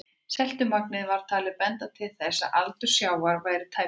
Seltumagnið var talið benda til þess að aldur sjávar væri tæpar